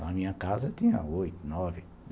Na minha casa tinha oito, nove.